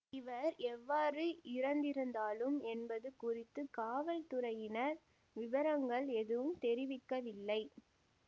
இவர் எவ்வாறு இறந்திருந்தாலும் என்பது குறித்து காவல்துறையினர் விபரங்கள் எதுவும் தெரிவிக்கவில்லை